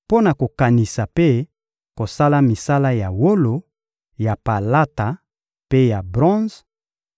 mpo na kokanisa mpe kosala misala ya wolo, ya palata mpe ya bronze,